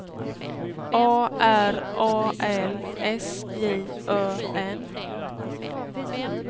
A R A L S J Ö N